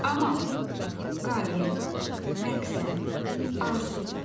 Amal, qəyyə, məqsəd, arzu.